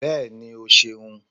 bẹẹni, o ṣeun